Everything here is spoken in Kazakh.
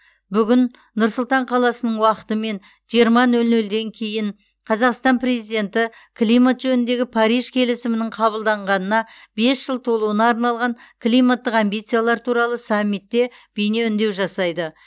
бүгін нұр сұлтан қаласының уақытымен жиырма нөл нөлден кейін қазақстан президенті климат жөніндегі париж келісімінің қабылданғанына бес жыл толуына арналған климаттық амбициялар туралы саммитте бейне үндеу жасайды